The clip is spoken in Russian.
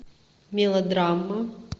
мелодрама